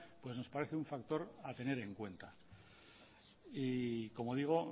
pues nos parece un factor a tener en cuenta y como digo